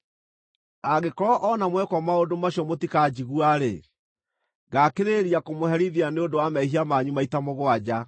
“ ‘Angĩkorwo o na mwekwo maũndũ macio mũtikanjigua-rĩ, ngaakĩrĩrĩria kũmũherithia nĩ ũndũ wa mehia manyu maita mũgwanja.